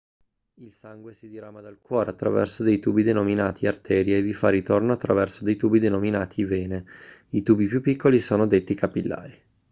il sangue si dirama dal cuore attraverso dei tubi denominati arterie e vi fa ritorno attraverso dei tubi denominati vene i tubi più piccoli sono detti capillari